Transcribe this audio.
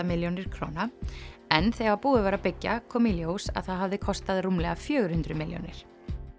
milljónir króna en þegar búið var að byggja kom í ljós að það hafði kostað rúmlega fjögur hundruð milljónir